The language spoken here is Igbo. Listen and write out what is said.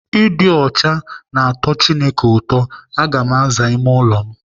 Ịdị ọcha na-atọ Chineke ụtọ. Aga m aza ime ụlọ m